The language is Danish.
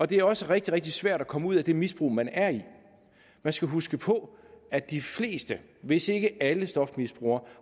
det er også rigtig rigtig svært at komme ud af det misbrug man er i man skal huske på at de fleste hvis ikke alle stofmisbrugere